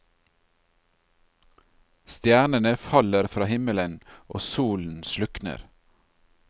Stjernene faller fra himmelen, og solen slukner.